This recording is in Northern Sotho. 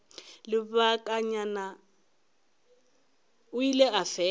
lebakanyana o ile a fela